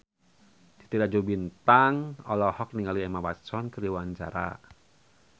Titi Rajo Bintang olohok ningali Emma Watson keur diwawancara